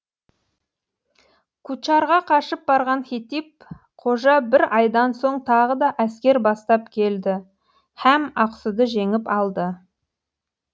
кучарға қашып барған хетип қожа бір айдан соң тағы да әскер бастап келді һәм ақсуды жеңіп алды